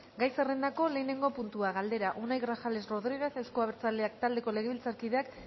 gai zerrendako lehenengo puntua galdera unai grajales rodríguez euzko abertzaleak taldeko legebiltzarkideak